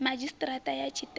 madzhisi ṱira ṱa ya tshiṱiriki